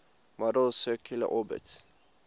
model's circular orbits